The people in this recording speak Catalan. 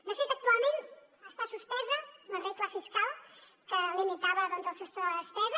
de fet actualment està suspesa la regla fiscal que limitava doncs el sostre de la despesa